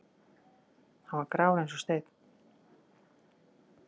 Hann var grár eins og steinn.